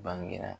Bangera